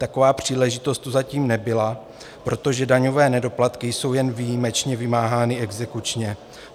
Taková příležitost tu zatím nebyla, protože daňové nedoplatky jsou jen výjimečně vymáhány exekučně.